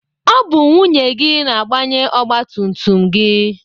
Ọ bụ nwunye gị na-agbanye ọgbatumtum gị.